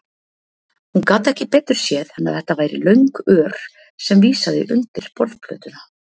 Hún gat ekki betur séð en að þetta væri löng ör sem vísaði undir borðplötuna.